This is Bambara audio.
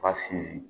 B'a sinsin